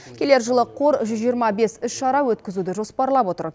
келер жылы қор жүз жиырма бес іс шара өткізуді жоспарлап отыр